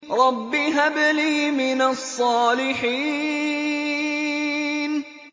رَبِّ هَبْ لِي مِنَ الصَّالِحِينَ